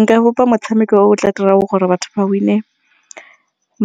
Nka bopa motshameko o tla dirang gore batho ba win-e